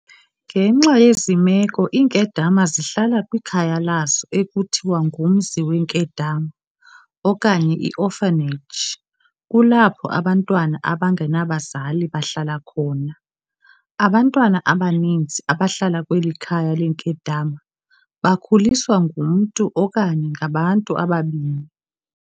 Ngenxa yezi meko iinkedama zihlala kwikhaya lazo ekuthiwa ngumzi weenkedama, okanye i-orphanage, kulapho abantwana abangenabazali bahlala khona. Abantwana abaninzi abahlala kweli khaya leenkedama bakhuliswa ngumntu okanye ngabantu ababini.